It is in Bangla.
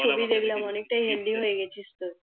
ছবি দেখলাম অনেকটাই হেলদি হয়ে গেছিস তুই